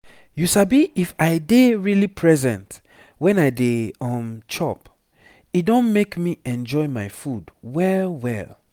you sabi if i dey really present when i dey um chop e don make me enjoy my food well well